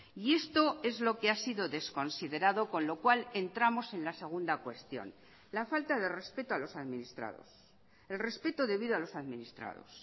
y esto es lo que ha sido desconsiderado con lo cual entramos en la segunda cuestión la falta de respeto a los administrados el respeto debido a los administrados